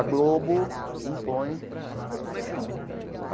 A Globo impõe.